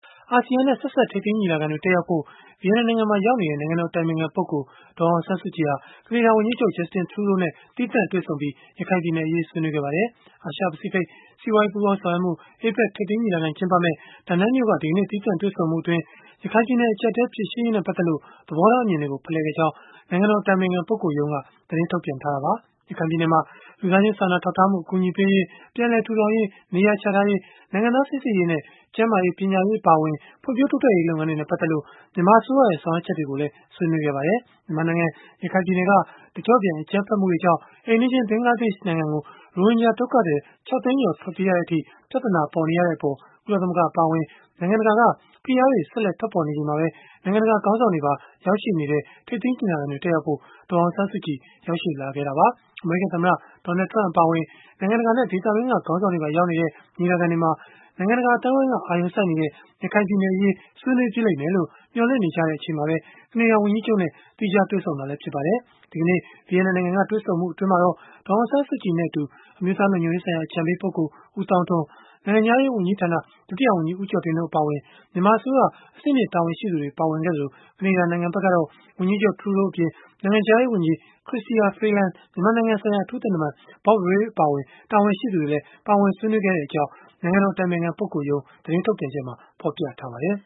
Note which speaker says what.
Speaker 1: အာဆီယံနဲ့ ဆက်စပ် ထိပ်သီးညီလာခံတွေ တက်ရောက်ဖို့ ဗီယက်နမ်နိုင်ငံမှာ ရောက်နေတဲ့ နိုင်ငံတော်အတိုင်ပင်ခံပုဂ္ဂိုလ် ဒေါ်အောင်ဆန်းစုကြည် ဟာ ကနေဒါဝန်ကြီးချုပ် Justin Trudeau နဲ့ သီးသန့်တွေ့ဆုံပြီး၊ ရခိုင်ပြည်နယ်အရေး ဆွေးနွေးခဲ့ကြပါတယ်။ အာရှ-ပဖိစိဖိတ် စီးပွားရေး ပူးပေါင်းဆောင်ရွက်မှု (APEC) ထိပ်သီးညီလာခံ ကျင်းပမယ့် Da Nang မြို့က ဒီကနေ့ သီးသန့်တွေ့ဆုံမှုအတွင်း၊ ရခိုင်ပြည်နယ် အကျပ်အတည်း ဖြေရှင်းရေးနဲ့ ပတ်သက်လို့ သဘောထားအမြင်တွေကို ဖလှယ်ခဲ့ကြောင်း နိုင်ငံတော် အတိုင်ပင်ခံပုဂ္ဂိုလ်ရုံးက သတင်းထုတ်ပြန်ခဲ့တာပါ။ ရခိုင်ပြည်နယ်မှာ လူသားချင်းစာနာထောက်ထားမှု အကူအညီပေးရေး၊ ပြန်လည်ထူထောင်ရေး၊ နေရာချထားရေး၊ နိုင်ငံသား စိစစ်ရေးနဲ့ ကျန်းမာရေး၊ ပညာရေး အပါအဝင် ဖွံ့ဖြိုးတိုးတက်ရေး လုပ်ငန်းတွေနဲ့ ပတ်သက်လို့ မြန်မာအစိုးရရဲ့ ဆောင်ရွက်ချက်တွေကိုလည်း ဆွေးနွေးခဲ့ကြပါတယ်။ မြန်မာနိုင်ငံ ရခိုင်ပြည်နယ်က တကျော့ပြန် အကြမ်းဖက်မှုတွေကြောင့် အိမ်နီးချင်း ဘင်္ဂလားဒေ့ရှ် နိုင်ငံကို ရိုဟင်ဂျာ ဒုက္ခသည် ၆ သိန်းကျော် ထွက်ပြေးရတဲ့အထိ ပြဿနာပေါ်နေရတဲ့အပေါ် ကုလသမဂ္ဂ အပါအဝင် နိုင်ငံတကာက ဖိအားတွေ ဆက်လက် ထွက်ပေါ်နေချိန်မှာပဲ နိုင်ငံတကာ ခေါင်းဆောင်တွေပါ ရောက်ရှိနေတဲ့ ထိပ်သီး ညီလာခံတွေ တက်ရောက်ဖို့ ဒေါ်အောင်ဆန်းစုကြည် ရောက်ရှိလာခဲ့တာပါ။ အမေရိကန် သမ္မတ Donald Trump အပါအဝင် နိုင်ငံတကာနဲ့ ဒေသတွင်းက ခေါင်းဆောင်တွေပါ ရောက်နေကြတဲ့ ညီလာခံတွေမှာ နိုင်ငံတကာ အသိုင်းအဝန်းက အာရုံစိုက်နေတဲ့ ရခိုင်ပြည်နယ်အရေး ဆွေးနွေးဖြစ်လိမ့်မယ်လို့ မျှော်လင့်နေချိန်မှာပဲ ကနေဒါဝန်ကြီးချုပ်နဲ့ သီးခြားတွေ့ဆုံခဲ့တာလည်း ဖြစ်ပါတယ်။ ဒီကနေ့ ဗီယက်နမ်နိုင်ငံက တွေ့ဆုံမှုအတွင်းမှာတော့ ဒေါ်အောင်ဆန်းစုကြည်နဲ့အတူ အမျိုးသားလုံခြုံရေးဆိုင်ရာ အကြံပေးပုဂ္ဂိုလ် ဦးသောင်းထွန်း၊ နိုင်ငံခြားရေးဝန်ကြီးဌာန ဒုတိယဝန်ကြီး ဦးကျော်တင်တို့ အပါအဝင် မြန်မာအစိုးရ အဆင့်မြင့် တာဝန်ရှိသူတွေ ပါဝင်ခဲ့ကြသလို၊ ကနေဒါနိုင်ငံဘက်ကတော့ ဝန်ကြီးချုပ် Trudeau အပြင်၊ နိုင်ငံခြားရေးဝန်ကြီး Chrystia Freeland မြန်မာနိုင်ငံဆိုင်ရာ အထူးသံတမန် Bob Rae အပါအဝင် တာဝန်ရှိသူတွေလည်း ပါဝင်ဆွေးနွေးခဲ့ကြကြောင်း နိုင်ငံတော် အတိုင်ပင်ခံပုဂ္ဂိုလ်ရုံး သတင်းထုတ်ပြန်ချက်မှာ ဖော်ပြထားပါတယ်